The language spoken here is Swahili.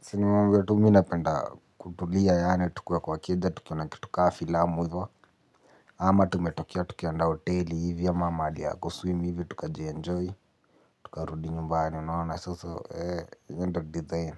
Si nimewaambia tu mi napenda kutulia yaani tukuwe kwa keja, tukiona kitu ka filamu hivo. Ama tumetokea tukienda hoteli hivi ama mahali ya kuswim hivi tukajienjoy. Tukarudi nyumbani, unaona sasa, hii ndo design